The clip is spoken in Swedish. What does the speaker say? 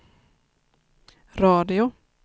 radio